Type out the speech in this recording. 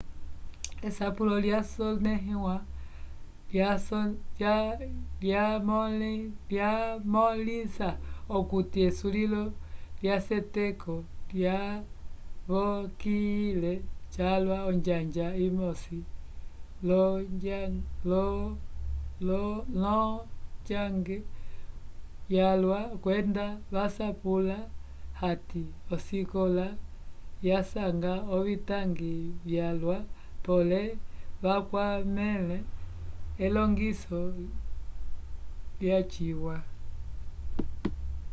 esapulo lyasonẽhiwa lyamõlisa okuti esulilo lyaseteko lyavokiyile calwa onjanja imosi l'onjang yalwa kwenda vasapwila hati osikola yasanga ovitangi vyalwa pole avakwamẽle elongiso lyaciwa